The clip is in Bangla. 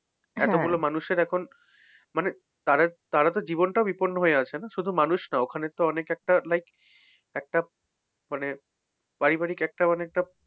এতগুলো মানুষের এখন মানে তাদের তারাতো জীবনটাও বিপন্ন হয়ে আছে না? শুধু মানুষ না ওখানেতো অনেক একটা like একটা মানে পারিবারিক একটা মানে একটা,